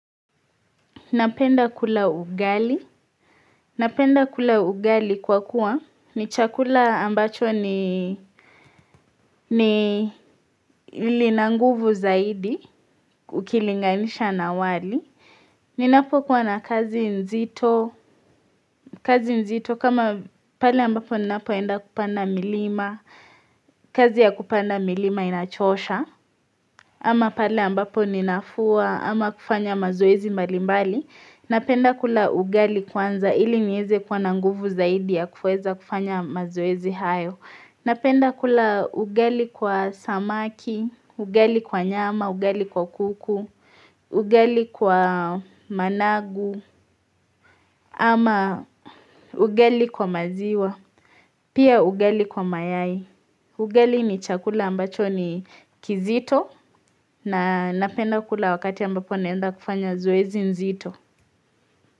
Napenda kula ugali. Napenda kula ugali kwa kuwa ni chakula ambacho ni ili nanguvu zaidi ukilinganisha na wali. Ninapo kuwa na kazi nzito. Kazi nzito kama pale ambapo ninapoenda kupanda milima. Kazi ya kupanda milima inachosha. Ama pale ambapo ninafua ama kufanya mazoezi malimbali. Napenda kula ugali kwanza ili nieze kuwa na nguvu zaidi ya kufanya mazoezi hayo. Napenda kula ugali kwa samaki, ugali kwa nyama, ugali kwa kuku, ugali kwa managu, ama ugali kwa maziwa, pia ugali kwa mayai. Ugali ni chakula ambacho ni kizito na napenda kula wakati ambapo naenda kufanya zoezi nzito.